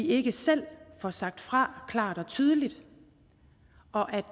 ikke selv får sagt fra klart og tydeligt og at